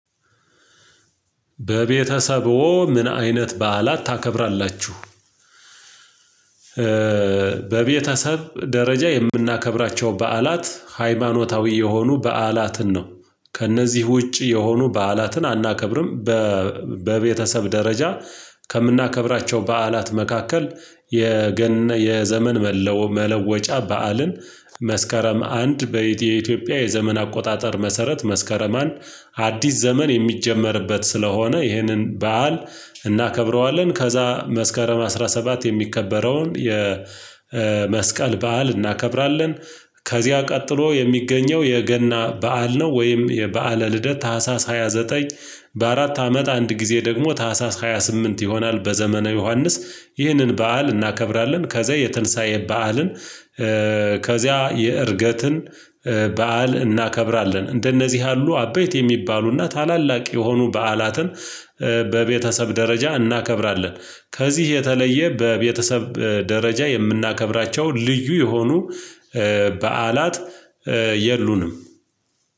በቤተሰቡ ምን አይነት በዓላት ታከብራላችሁ? በቤተሰብ ደረጃ የምናከብራቸው በዓላት ሃይማኖታዊ የሆኑ በዓላትን ነው ከእነዚህ ውጪ የሆኑ በዓላትን አናከብርም። በቤተሰብ ደረጃ ከምናከብራቸው በዓላት መካከል የገን የዘመን መለወጫ በዓልን መስከረም አንድ አንድ በኢትዮጵያ የዘመን አቆጣጠር መሰረት መስከረም አንድ አዲስ ዘመን የሚጀመርበት ስለሆነ ይህንን በዓል እናከብረዋለን ከዛ መስከረም አስራ ሰባት የሚከበረውን የ የመስቀል በዓል እናከብራለን። ከዚያ ቀጥሎ የሚገኘው የገና በዓል ነው ወይም የበዓለ ልደት ታህሳስ ሃያ ዘጠኝ በአራት አመት አንድ ጊዜ ደግሞ ታህሳስ ሃያ ስምንት ይሆናል በዘመነ ዮሐንስ ይህንን በዓል እናከብራለን። ከዛ የትንሳኤ በዓልን ከዚያ የእርገትን በዓል እናከብራለን እንደነዚህ ያሉ አበይት የሚባሉና ታላላቅ የሆኑ በዓላትን በቤተሰብ ደረጃ እናከብራለን። ከዚህ የተለየ በቤተሰብ ደረጃ የምናከብራቸው ልዩ የሆኑ በዓላት የሉንም።